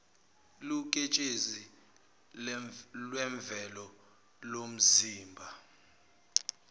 liwuketshezi lwemvelo lomzimba